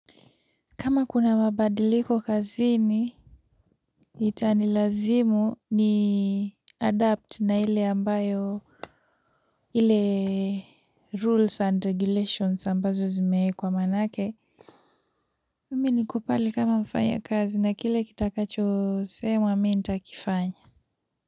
Kama kuna mabadiliko kazini itani lazimu ni adapt na ile ambayo ile rules and regulations ambazo zimeekwa maanake mimi niko pale kama mfanyakazi na kile kitakacho semwa mi nitakifanya.